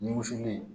Ni wusuli in